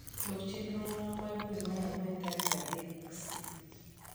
lok chenrona ma dwe mar angwen tarik adek c